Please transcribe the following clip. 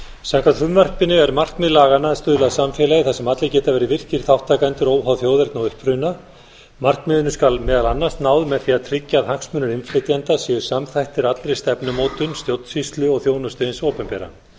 samkvæmt frumvarpinu er markmið laganna að stuðla að samfélagi þar sem allir geta verið virkir þátttakendur óháð þjóðerni og uppruna markmiðinu skal meðal annars náð með því að tryggja að hagsmunir innflytjenda séu samþættir allri stefnumótun stjórnsýslu og þjónustu hins opinbera